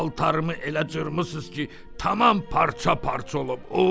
Paltarımı elə cırmısınız ki, tamam parça-parça olub.